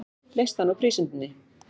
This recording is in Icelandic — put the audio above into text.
Leyst hann úr prísundinni.